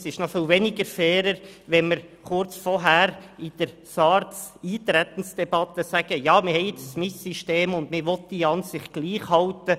Es ist noch viel unfairer, kurz vorher in der Eintretensdebatte zu SARZ zu sagen, man wolle beide Systeme ungefähr gleich behandeln.